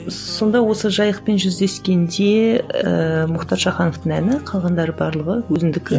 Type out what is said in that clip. сонда осы жайықпен жүздескенде ііі мұхтар шахановтың әні қалғандары барлығы өзіңдікі